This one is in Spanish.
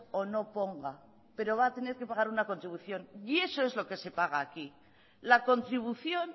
o no ponga pero va a tener que pagar una contribución y eso es lo que se paga aquí la contribución